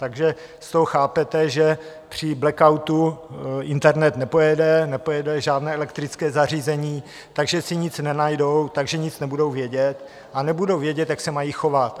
Takže z toho chápete, že při blackoutu internet nepojede, nepojede žádné elektrické zařízení, takže si nic nenajdou, takže nic nebudou vědět a nebudou vědět, jak se mají chovat.